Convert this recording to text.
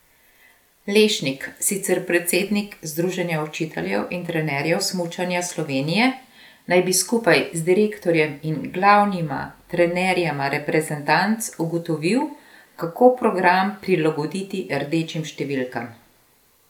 Lešnik, sicer predsednik Združenja učiteljev in trenerjev smučanja Slovenije, naj bi skupaj z direktorjem in glavnima trenerjema reprezentanc ugotovil, kako program prilagoditi rdečim številkam.